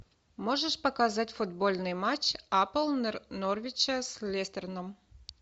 можешь показать футбольный матч апл норвича с лестерном